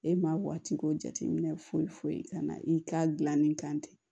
E maa bɔtigi ko jateminɛ foyi foyi kana i k'a dilanni kan ten